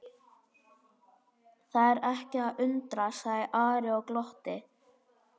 Það er ekki að undra, sagði Ari og glotti.